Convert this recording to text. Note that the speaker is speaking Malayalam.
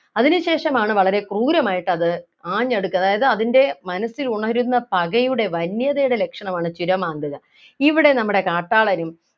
അതിനുശേഷം ആണ് വളരെ ക്രൂരമായിട്ട് അത് ആഞ്ഞ് അടുക്കുന്നത് അതായത് അതിൻ്റെ മനസ്സിൽ ഉണരുന്ന പകയുടെ വന്യതയുടെ ലക്ഷണമാണ് ചുരമാന്തുക ഇവിടെ നമ്മുടെ കാട്ടാളനും